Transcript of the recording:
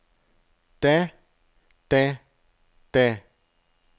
da da da